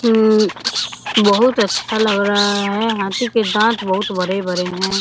हूं बहुत अच्छा लग रहा है हाथी के दांत बहुत बड़े-बड़े हैं।